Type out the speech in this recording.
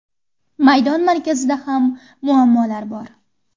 Maydon markazida ham muammolar bor.